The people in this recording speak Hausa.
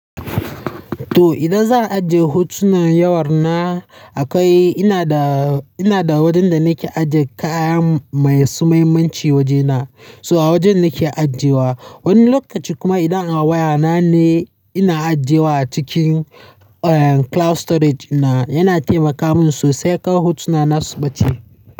To, idan zan ajiye hotunan wayana akwai, ina da, ina da wajen da nake ajiye kaya mai su muhimmanci wajena. So a wajen nake ajiyewa. Wani lokaci kuma idan a wayana ne ina ajiyewa a cikin, eh, cloud storage na yana taimaka min sosai kar hotuna na su ɓace.